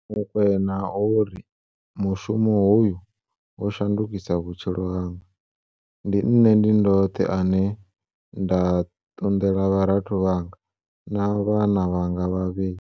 Mokoena o ri mushumo hoyu wo shandukisa vhutshilo hanga. Ndi nṋe ndi ndoṱhe ane nda ṱunḓela vharathu vhanga na vhana vhanga vhavhili.